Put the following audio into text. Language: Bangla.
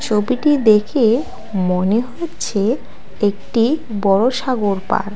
ছবিটি দেখে মনে হচ্ছে একটি বড়ো সাগর পাড়।